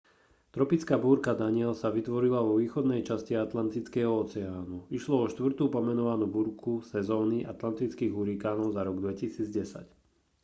tropická búrka danielle sa vytvorila vo východnej časti atlantického oceánu išlo o štvrtú pomenovanú búrku sezóny atlantických hurikánov za rok 2010